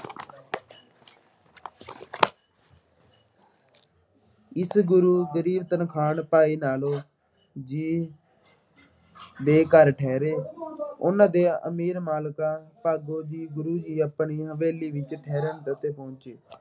ਇਸ ਗੁਰੂ ਗਰੀਬ ਤਰਖਾਣ ਭਾਈ ਲਾਲੋ ਜੀ ਦੇ ਘਰ ਠਹਿਰੇ। ਉਹਨਾ ਦੇ ਅਮੀਰ ਮਲਿਕ ਭਾਗੋ ਦੀ ਗੁਰੂ ਦੀ ਆਪਣੀ ਹਵੇਲੀ ਵਿੱਚ ਠਹਿਰਨ ਅਤੇ ਪਹੁੰਚੇ।